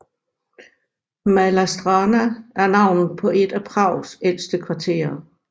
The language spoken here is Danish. Malá Strana er navnet på et af Prags ældste kvarterer